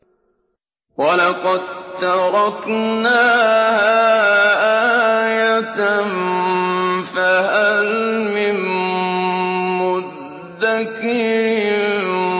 وَلَقَد تَّرَكْنَاهَا آيَةً فَهَلْ مِن مُّدَّكِرٍ